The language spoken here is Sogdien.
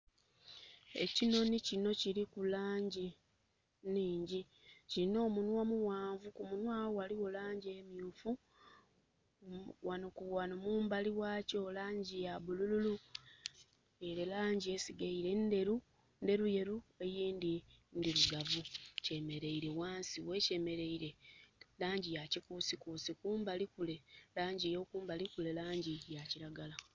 Ekinhonhi kino kiliku langi nhingyi. Kilina omunhwa omughanvu, kumunhwa agho ghaligho langi emyufu, ghano mumbali ghakyo langi ya bulululu, nga langi esigaile ndheru, ndheruyeru, eyindhi ndhirugavu. Kyemereile ghansi, ghekyemeleire langi ya kikuusikuusi. Kumbali kule, langi y'okumbali kule, langi ya kiragala.